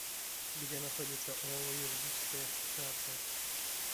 где находится ооо юридическая ассоциация